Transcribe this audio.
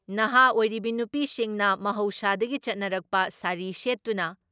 ꯅꯍꯥ ꯑꯣꯏꯔꯤꯕꯤ ꯅꯨꯄꯤꯁꯤꯡꯅ ꯃꯍꯧꯁꯥꯗꯒꯤ ꯆꯠꯅꯔꯛꯄ ꯁꯥꯔꯤ ꯁꯦꯠꯇꯨꯅ